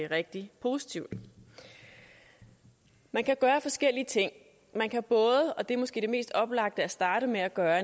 rigtig positivt man kan gøre forskellige ting man kan både og det er måske det mest oplagte at starte med at gøre